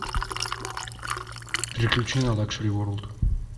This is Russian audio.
переключи на лакшери ворлд